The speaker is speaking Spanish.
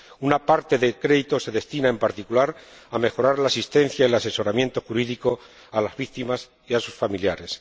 Una parte del crédito se destina, en particular, a mejorar la asistencia y el asesoramiento jurídico a las víctimas y a sus familiares.